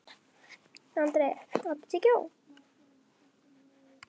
André, áttu tyggjó?